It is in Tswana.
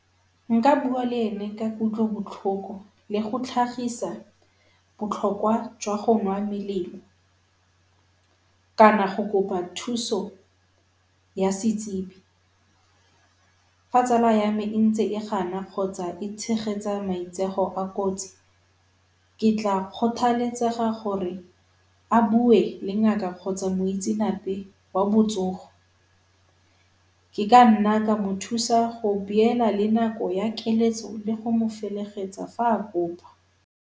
Nka bua le ene ka kutlobotlhoko le go tlhagisa botlhokwa jwa go nwa melemo kana go kopa thuso ya setsebi. Fa tsala ya me e ntse e gana kgotsa e tshegetsa maitsego a kotsi ke tla kgothaletsega gore a bue le ngaka kgotsa moitsenape wa botsogo. Ke ka nna ka mo thusa go beela le nako ya felegetso fa a kopa.